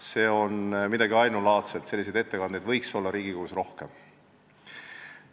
See on midagi ainulaadset ja selliseid ettekandeid võiks Riigikogus rohkem olla.